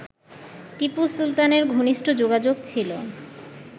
টিপু সুলতানের ঘনিষ্ঠ যোগাযোগ ছিল